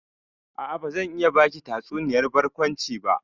A'a, bazan iya baki tatsuniyar barkwanci ba.